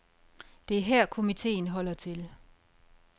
Det er her, komiteen holder til.